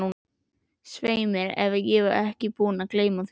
Svei mér ef ég er ekki búinn að gleyma því